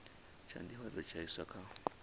tsha nḓivhadzo tsha iswa kha